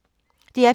DR P3